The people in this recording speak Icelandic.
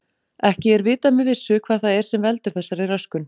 Ekki er vitað með vissu hvað það er sem veldur þessari röskun.